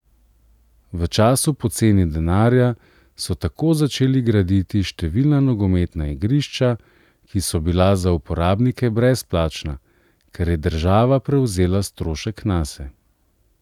V času poceni denarja so tako začeli graditi številna nogometna igrišča, ki so bila za uporabnike brezplačna, ker je država prevzela strošek nase.